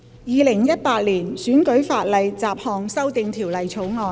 《2018年選舉法例條例草案》。